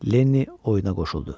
Lenniy oyuna qoşuldu.